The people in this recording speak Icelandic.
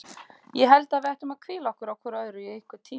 Ég held að við ættum að hvíla okkur á hvort öðru í einhvern tíma.